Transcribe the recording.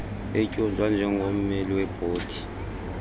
etyunjwa njengommeli webhodi